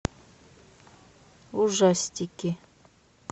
ужастики